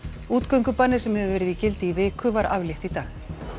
útgöngubanni sem hefur verið í gildi í viku var aflétt í dag